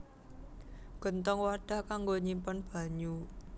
Genthong wadhah kanggo nyimpen banyu